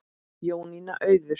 Jónína Auður.